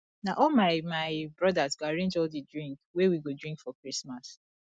na all my my brodas go arrange all di drink wey we go drink for christmas